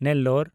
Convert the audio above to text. Nellore